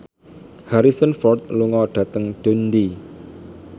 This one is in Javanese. Harrison Ford lunga dhateng Dundee